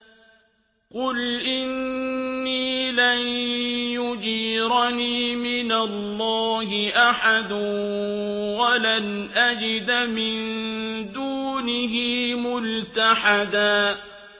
قُلْ إِنِّي لَن يُجِيرَنِي مِنَ اللَّهِ أَحَدٌ وَلَنْ أَجِدَ مِن دُونِهِ مُلْتَحَدًا